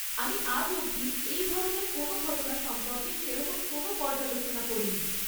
আমি আজ অবধি এই ধরনের কোনও ঘটনা সম্পর্কে সেরকম কোনও পর্যালোচনা পড়িনি।